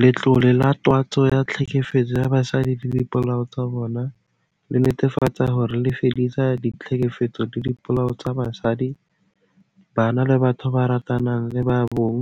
Letlole la Twantsho ya Tlhekefetso ya Basadi le Dipolao tsa bona le netefatsa hore le fedisa ditlhekefetso le dipolao tsa basadi, bana le batho ba ratanang le ba bong